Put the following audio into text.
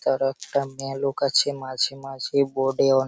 তার একটা মেলোক আছে মাঝে মাঝে বোর্ড এ অন--